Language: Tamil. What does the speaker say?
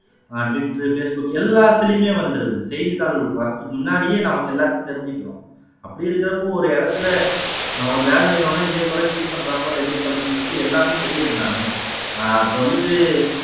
அஹ் ட்விட்டர், ஃபேஸ் புக் எல்லாத்துலயுமே வந்துடுது செய்தித்தாள்கள் வர்றதுக்கு முன்னாடியே நமக்கு எல்லாத்தையும் தெரிஞ்சுக்கிறோம் அப்படி இருக்கிறப்போ ஒரு இடத்துல ஒரு வேலை நிறுவனம் இதே போல cheat பண்ற போல இருக்கு அப்படின்னு சொல்லிட்டு எல்லாமே தெரியறதுதானே அஹ் இப்ப வந்துட்டு